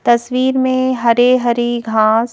तस्वीर में हरे हरी घास--